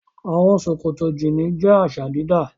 Àwọn ṣòkòtò jíínì jẹ́ àṣà-dídá.